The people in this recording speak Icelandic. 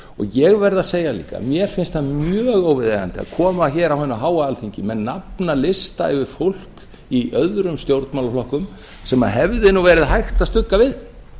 ég verð að segja líka að mér finnst það mjög óviðeigandi að koma hér á hið háa alþingi með nafnalista yfir fólk í öðrum stjórnmálaflokkum sem hefði nú verið hægt að stugga við